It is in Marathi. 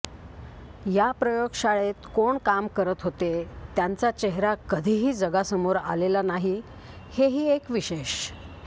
या प्रयोगशाळेत कोण काम करत होते त्यांचा चेहरा कधीही जगासमोर आलेला नाही हेही एक विशेष